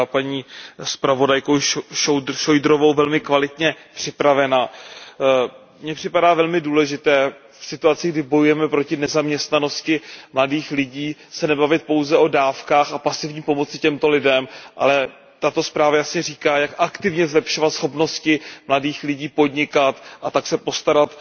Byla paní zpravodajkou Šojdrovou velmi kvalitně připravena. Mně připadá velmi důležité v situaci, kdy bojujeme proti nezaměstnanosti mladých lidí, se nebavit pouze o dávkách a pasivní pomoci těmto lidem, ale tato zpráva jasně říká, jak aktivně zlepšovat schopnosti mladých lidí podnikat, a tak se postarat